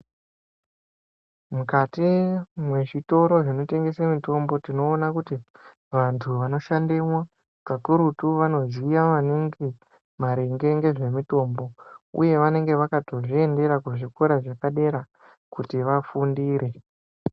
Mukati mezvitoro zvinotengese mitombo tinoone kuti antu anoshandemo kakurutu vanoziya maningi maringe ngezvemitombo uye vanenge vakatozviendera kuzvikora zvepadera kuti vafundire.